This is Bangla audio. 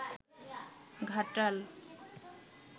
ঘাটাল